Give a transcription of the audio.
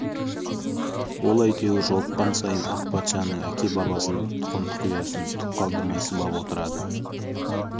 ол әйтеуір жолыққан сайын ақ патшаның әке-бабасын тұқым-тұқиянын түк қалдырмай сыбап отырады